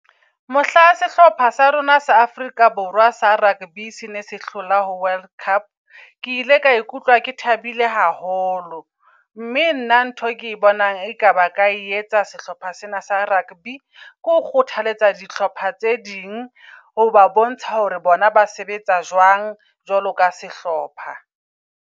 Mohla sehlopha sa rona sa Afrika Borwa sa rugby sene se hlola ho World Cup. Ke ile ka ikutlwa ke thabile haholo. Mme nna ntho e ke bonang eka baka e etsa sehlopha sena sa rugby. Ke ho kgothaletsa dihlopha tse ding hoba bontsha hore bona ba sebetsa jwang jwalo ka sehlopha.